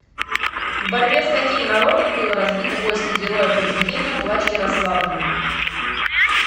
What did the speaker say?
в борьбе с каким народом было разбито войско героя произведения плач ярославны